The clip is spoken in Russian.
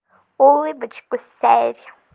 улыбочку сэр